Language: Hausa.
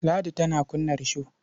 Ladi tana kunna risho.